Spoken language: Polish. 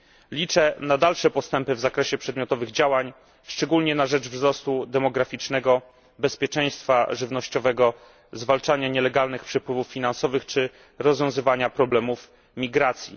Liczę na dalsze postępy w zakresie przedmiotowych działań, szczególnie na rzecz wzrostu demograficznego, bezpieczeństwa żywnościowego, zwalczania nielegalnych przepływów finansowych czy rozwiązywania problemów migracji.